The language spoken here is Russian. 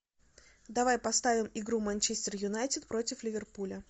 давай поставим игру манчестер юнайтед против ливерпуля